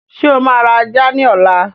Ṣé o máa ra ajá ni ọ̀la?